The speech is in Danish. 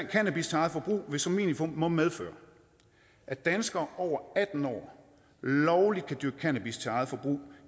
cannabis til eget forbrug vil som minimum medføre at danskere over atten år lovligt kan dyrke cannabis til eget forbrug